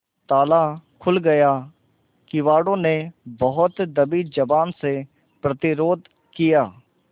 ताला खुल गया किवाड़ो ने बहुत दबी जबान से प्रतिरोध किया